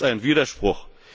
Hier ist ein Widerspruch!